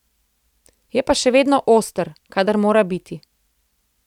Je pa še vedno oster, kadar mora biti.